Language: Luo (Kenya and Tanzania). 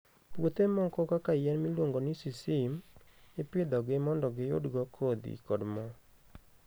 Puothe moko kaka yien miluongo ni sesame, ipidhogi mondo giyudgo kodhi kod mo.